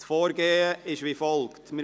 Das Vorgehen sieht folgendermassen aus: